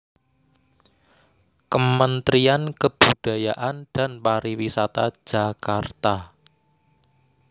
Kementrian Kebudayaan dan pariwisata Jakarta